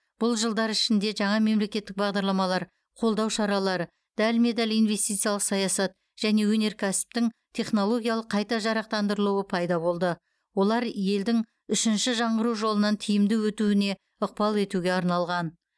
бұл жылдар ішінде жаңа мемлекеттік бағдарламалар қолдау шаралары дәлме дәл инвестициялық саясат және өнеркәсіптің технологиялық қайта жарақтандырылуы пайда болды олар елдің үшінші жаңғыру жолынан тиімді өтуіне ықпал етуге арналған